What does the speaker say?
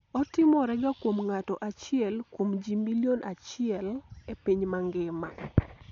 otimore ga kuom ng'ato achiel kuom jii milion achiel e piny mangima